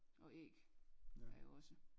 Og æg er jo også